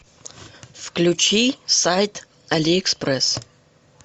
включи сайт алиэкспресс